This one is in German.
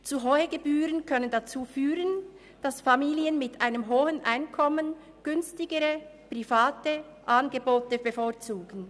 Zu hohe Gebühren können dazu führen, dass Familien mit einem hohen Einkommen günstigere private Angebote bevorzugen.